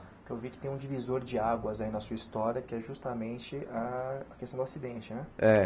Porque eu vi que tem um divisor de águas aí na sua história, que é justamente a questão do acidente, né?